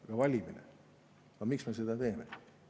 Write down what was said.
Aga valimine – miks me seda teeme?